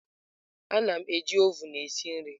Ana m eji oven esi nri.